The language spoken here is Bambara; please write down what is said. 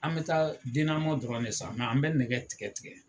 An mɛ taa dɔrɔn de san an mɛ nɛgɛ tigɛ tigɛ.